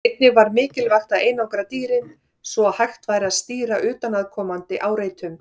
Einnig var mikilvægt að einangra dýrin, svo að hægt væri að stýra utanaðkomandi áreitum.